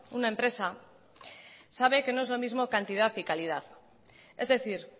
una empresa sabe que no es lo mismo cantidad y calidad es decir